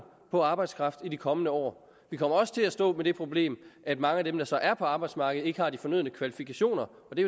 på arbejdskraft i de kommende år vi kommer også til at stå med det problem at mange af dem der så er på arbejdsmarkedet ikke har de fornødne kvalifikationer og det